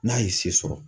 N'a ye se sɔrɔ